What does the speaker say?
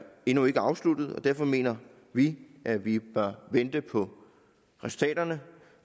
endnu ikke afsluttet og derfor mener vi at vi bør vente på resultaterne